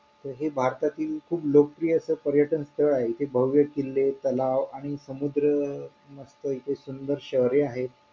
April चा पण पूर्ण महिना गेला मग bank त तुम्ही जावा bank वाल्यांना दाखवा मला कधी पर्यंत मला आता गरज आहे मला सामान घ्यायला पैसे नाही मला गरज आहे मला तुम्ही कधी देता .